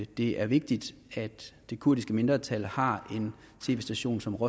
det er vigtigt at det kurdiske mindretal har en tv station som